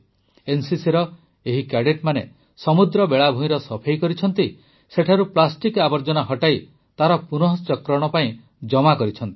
ଏନସିସିର ଏହି କ୍ୟାଡେଟମାନେ ସମୁଦ୍ର ବେଳାଭୂଇଁର ସଫେଇ କରିଛନ୍ତି ସେଠାରୁ ପ୍ଲାଷ୍ଟିକ୍ ଆବର୍ଜନା ହଟାଇ ତାର ପୁନଃଚକ୍ରଣ ପାଇଁ ଜମା କରିଛନ୍ତି